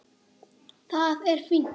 Það er fínt.